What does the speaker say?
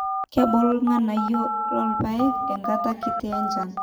kebulu irrnganayio loo rpaek enkata kiti enchan